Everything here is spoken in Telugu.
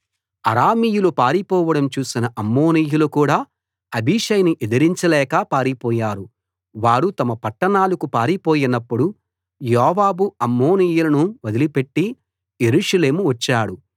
అరామీయులు పారిపోవడం చూసిన అమ్మోనీయులు కూడా అబీషైని ఎదిరించలేక పారిపోయారు వారు తమ పట్టణాలకు పారిపోయినప్పుడు యోవాబు అమ్మోనీయులను వదిలిపెట్టి యెరూషలేము వచ్చాడు